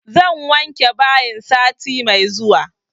Zan wanke bayin sati mai zuwa